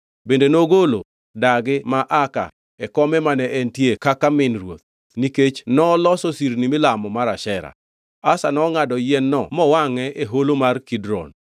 Bende nogolo dagi ma Maaka e kome mane entie kaka min ruoth nikech noloso sirni milamo mar Ashera. Asa nongʼado yien-no mowangʼe e holo mar Kidron.